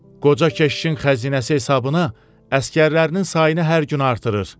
Qoca keşişin xəzinəsi hesabına əsgərlərinin sayını hər gün artırır.